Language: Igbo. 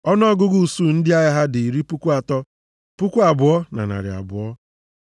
Ọnụọgụgụ usuu ndị agha ha dị iri puku atọ, puku abụọ na narị abụọ (32,200).